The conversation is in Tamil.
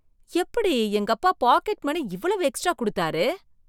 எப்படி எங்க அப்பா பாக்கெட் மணி இவ்வளவு எக்ஸ்ட்ரா குடுத்தாரு!